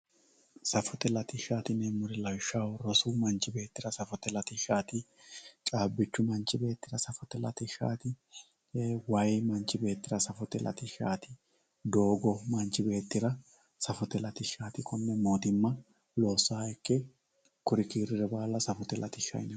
safote latishshaati yineemori lawishshaho rosu manchu beettira safote latishshaati caabichu manchi beettira safote latishshaati waayi manchi beettira safote latishshaati doogo manchi beettira safote latishshaati konne mottimma lossaanke kuri kiiriri baalu safote latishshaati.